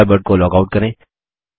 Thunderbird को log out करें